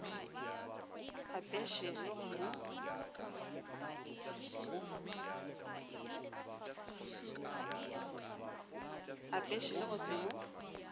apeše le go se mo